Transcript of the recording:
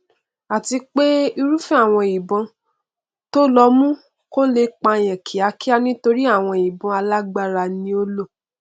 àti pé irúfẹ àwọn ìbọn tó lò mú kó lè pààyàn kíákíá nítorí àwọn ìbọn alágbára ni ó lò